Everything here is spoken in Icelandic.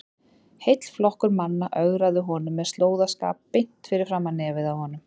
Heill flokkur manna ögraði honum með slóðaskap beint fyrir framan nefið á honum!